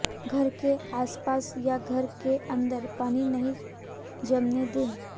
घर के आसपास या घर के अंदर पानी नहीं जमने दें